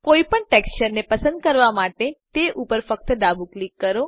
કોઈ પણ ટેક્સચર ને પસંદ કરવા માટે તે ઉપર ફક્ત ડાબું ક્લિક કરો